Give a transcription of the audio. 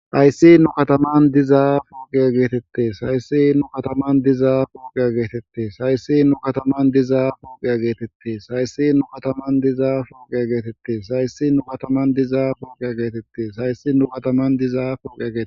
hayssi nu kataman dizaa foogia geetette sayssi nu kataman dizaa foogea geetette sayssi nu kataman dizaa fuogea geetette sayssi nu kataman dizaa foogea geetette sayssi nu kataman dizaa foogea geetette sayssi nu kataman dizaa fogea geete